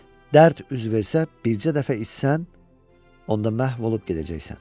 Dərd üz versə, bircə dəfə içsən, onda məhv olub gedəcəksən.